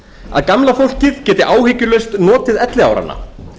að gamla fólkið geti áhyggjulaust notið elliáranna